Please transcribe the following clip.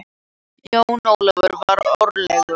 Jón Ólafur var órólegur.